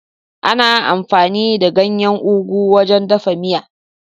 Ana amfani da ganyen Ugu wajen dafa miya.